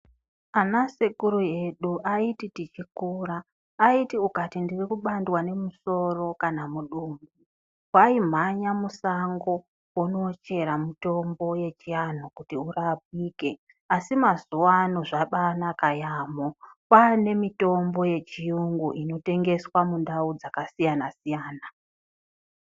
Ana sekuru edu aiti tichikura, aiti ukati ndirikubandwa nemusoro kana mudumbu waimhanya musango wonochera mutombo yechianhu kuti urapike asi mazuwano zvabanaka yaamho kwane mitombo yechiyungu inotengeswa mundau dzakasiyana-siyana.